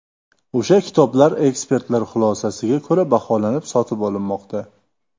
O‘sha kitoblar ekspertlar xulosasiga ko‘ra baholanib, sotib olinmoqda.